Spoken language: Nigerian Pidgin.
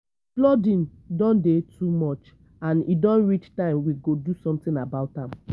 the flooding don dey too much and e don reach time we go do something about am